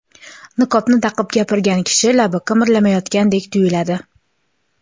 Niqobni taqib gapirgan kishi labi qimirlamayotgandek tuyuladi.